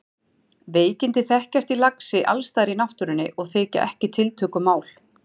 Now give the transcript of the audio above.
Veikindi þekkjast í laxi alls staðar í náttúrunni og þykja ekki tiltökumál.